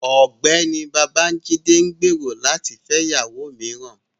Ọgbẹni Babajide n gbero lati fẹ iyawo miiran